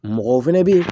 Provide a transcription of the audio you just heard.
Mɔgɔ fɛnɛ bɛ yen